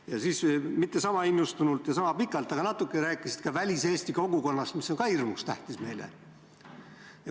Ja siis – mitte sama innustunult ja mitte sama pikalt, vaid natuke – rääkisid ka väliseesti kogukonnast, mis on meile ka hirmus tähtis.